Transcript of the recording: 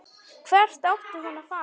Hvert átti hún að fara?